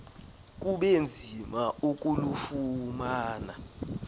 kube nzima ukulufumana